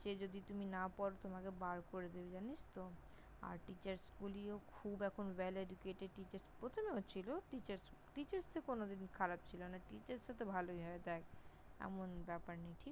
সে যদি তুমি না পড় তোমাকে বার করে দেবে জানিস তো! আর Teachers গুলিও খুব এখন Well Educated Teachers ।প্রথমেও ছিল, Teachers Teachers -এ কোনোদিন খারাপ ছিল না। Teachers তো ভালোই হয়। দেখ, এমন ব্যাপার নেই।